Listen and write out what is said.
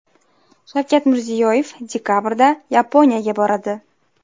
Shavkat Mirziyoyev dekabrda Yaponiyaga boradi.